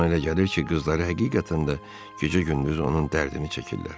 Ona elə gəlir ki, qızları həqiqətən də gecə-gündüz onun dərdini çəkirlər.